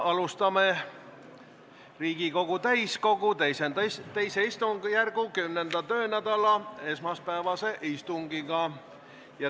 Alustame Riigikogu täiskogu II istungjärgu 10. töönädala esmaspäevast istungit.